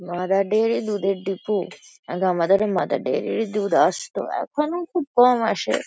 Mother dairy দুধের depot আগে আমাদেরও মাদার ডেইরি -ই দুধ আসতো এখনো খুব কম আসে।